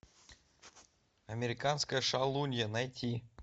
американская шалунья найти